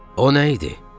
O nə idi?